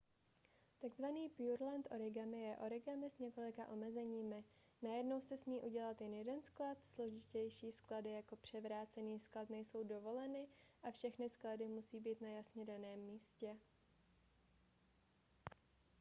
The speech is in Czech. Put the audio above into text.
tzv. pureland origami je origami s několika omezeními: najednou se smí udělat jen jeden sklad složitější sklady jako převrácený sklad nejsou dovoleny a všechny sklady musí být na jasně daném místě